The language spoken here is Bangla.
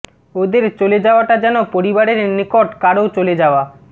ওদের চলে যাওয়াটা যেন পরিবারের নিকট কারও চলে যাওয়া